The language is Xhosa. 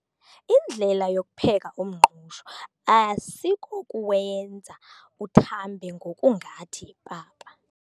Indlela yokupheka umngqusho asikokuwenza uthambe ngokungathi yipapa.